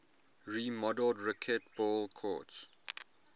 remodeled racquetball courts